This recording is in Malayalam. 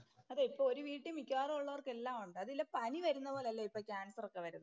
അതെ ഇപ്പോ ഒരു വീട്ടിൽ മിക്കവാറുള്ളവര്‍ക്കെല്ലാം ഒണ്ട്. അതില്ല പനി വരുന്ന പോലെയല്ലേ ഇപ്പോൾ കാന്‍സര്‍ ഒക്കെ വരുന്നേ.